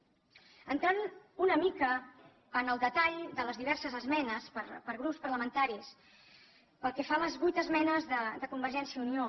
entrant una mica en el detall de les diverses esmenes per grups parlamentaris pel que fa a les vuit esmenes de convergència i unió